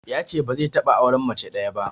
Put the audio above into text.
Yace ba zai taɓa auren mace ɗaya ba.